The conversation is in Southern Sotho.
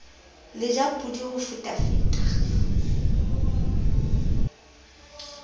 le ja podi ho fetafeta